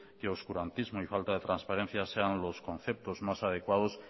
que el oscurantismo y falta de transparencia sean los conceptos más adecuados